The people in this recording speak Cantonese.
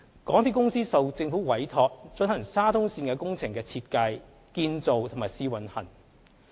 港鐵公司受政府委託，進行沙中線工程的設計、建造和試運行。